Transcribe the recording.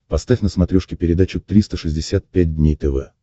поставь на смотрешке передачу триста шестьдесят пять дней тв